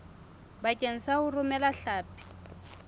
bakeng sa ho romela hlapi